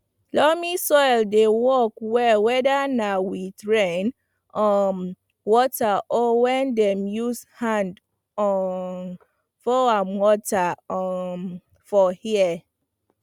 loamy soil dey work well weda na with rain um water or wen dem use hand um pour am water um for here